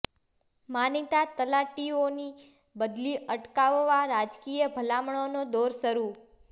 માનીતા તલાટીઓની બદલી અટકાવવા રાજકીય ભલામણનો દોર શરૂ